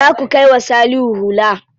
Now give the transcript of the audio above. Za ku kai wa Salihu hula.